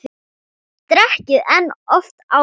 Dekkri en oft áður.